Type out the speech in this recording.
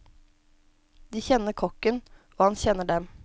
De kjenner kokken, og han kjenner dem.